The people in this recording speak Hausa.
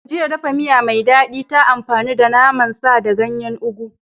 Jiya, dafa miya mai daɗi ta amfani da naman sa da ganyen ugu